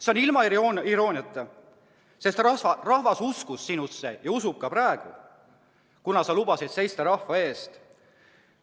See oli öeldud ilma irooniata, sest rahvas uskus sinusse ja usub ka praegu, kuna sa lubasid seista rahva eest.